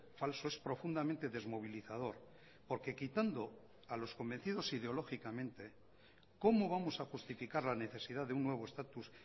falso es profundamente desmovilizador porque quitando a los convencidos ideológicamente cómo vamos a justificar la necesidad de un nuevo estatus